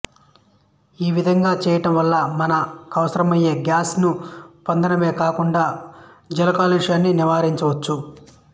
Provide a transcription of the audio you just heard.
ఈ విధంగా చేయడం వల్ల మన కవసరమయ్యే గ్యాస్ ను పొందడమే కాకుండా జల కాలుష్యాన్ని నివారించవచ్చు